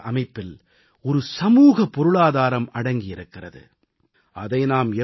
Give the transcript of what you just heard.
பாரதத்தின் பொருளாதார அமைப்பில் ஒரு சமூக பொருளாதாரம் அடங்கியிருக்கிறது